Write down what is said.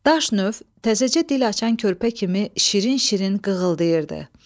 Daş növ təzəcə dil açan körpə kimi şirin-şirin qığıldayırdı.